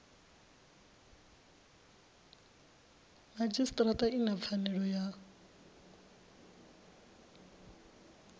madzhisitirata i na pfanelo ya